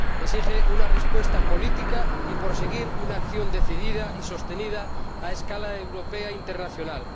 Exige una respuesta política y proseguir una acción decidida y sostenida a escala europea e internacional.